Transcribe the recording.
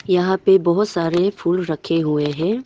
यहां पे बहोत सारे फूल रखे हुए हैं।